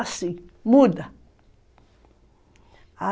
Assim, muda.